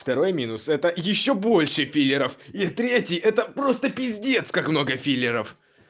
второй минус это ещё больше филлеров и третий это просто пиздец как много филлеров